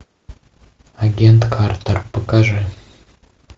агент картер покажи